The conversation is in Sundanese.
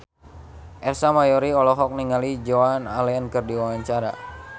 Ersa Mayori olohok ningali Joan Allen keur diwawancara